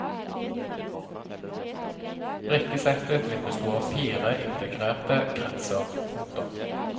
Brikkesettet vil bestå av fire integrerte kretser. punktum